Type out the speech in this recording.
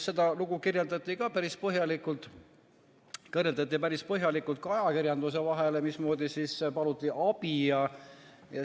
Seda lugu kirjeldati päris põhjalikult ka ajakirjanduse vahendusel ja paluti abi.